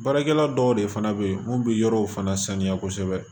Baarakɛla dɔw de fana bɛ yen mun bɛ yɔrɔw fana saniya kosɛbɛ